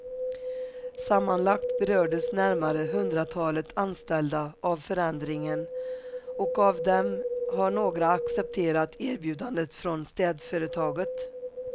Sammanlagt berördes närmare hundratalet anställda av förändringen och av dem har några accepterat erbjudandet från städföretaget.